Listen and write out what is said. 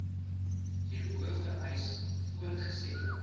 hierbo vereis voortgesette